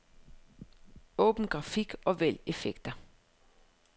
Åbn grafik og vælg effekter.